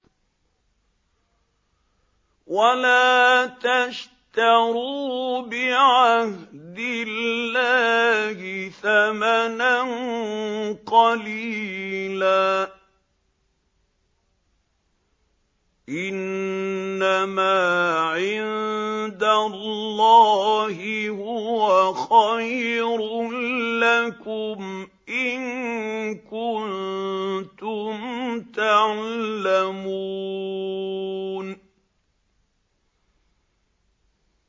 وَلَا تَشْتَرُوا بِعَهْدِ اللَّهِ ثَمَنًا قَلِيلًا ۚ إِنَّمَا عِندَ اللَّهِ هُوَ خَيْرٌ لَّكُمْ إِن كُنتُمْ تَعْلَمُونَ